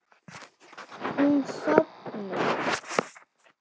Hún sofnar.